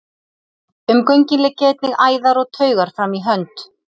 Um göngin liggja einnig æðar og taugar fram í hönd.